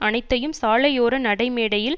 அனைத்தையும் சாலையோர நடைமேடையில்